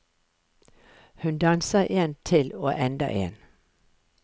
Hun danser en til og enda en.